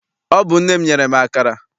Ọ bụ nne m nyere m akara.